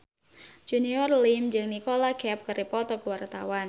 Junior Liem jeung Nicholas Cafe keur dipoto ku wartawan